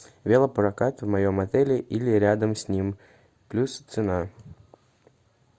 велопрокат в моем отеле или рядом с ним плюс цена